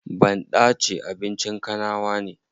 Banɗace abincin kanawa ne.